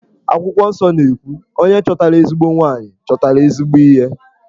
Akwụkwọ nsọ na-ekwu 'Onye chọtara ezigbo nwanyị, chọtara ezigbo ihe'.